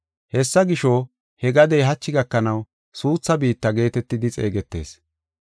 Hessa gisho, he gadey hachi gakanaw suutha biitta geetetidi xeegetees.